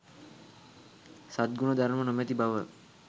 සත්ගුණ ධර්ම නොමැති බව